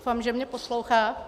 Doufám, že mě poslouchá...